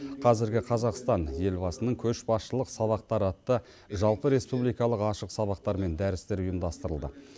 қазіргі қазақстан елбасының көшбасшылық сабақтары атты жалпыреспубликалық ашық сабақтар мен дәрістер ұйымдастырылды